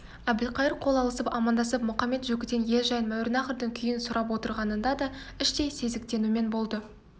әбілқайыр қол алысып амандасып мұқамет-жөкіден ел жайын мауреннахрдың күйін сұрап отырғанында да іштей сезіктенумен болды